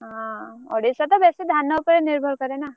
ହଁ ଓଡ଼ିଶା ତ ବେଶୀ ଧାନ ଉପରେ ନିର୍ଭର କରେ ନା।